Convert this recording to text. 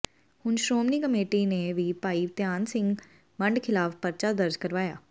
ਹੁਣ ਸ਼੍ਰੋਮਣੀ ਕਮੇਟੀ ਨੇ ਵੀ ਭਾਈ ਧਿਆਨ ਸਿੰਘ ਮੰਡ ਖਿਲਾਫ ਪਰਚਾ ਦਰਜ਼ ਕਰਵਾਇਆ